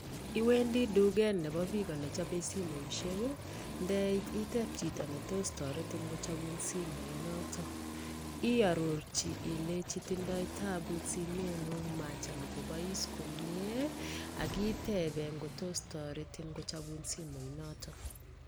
Iwendi duket Nebo chi nechopei simet atya i arorji kaimutiet ab stimet komye atya kochopun